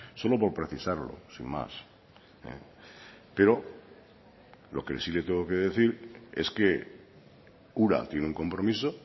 solo por precisarlo sin más pero lo que sí le tengo que decir es que ura tiene un compromiso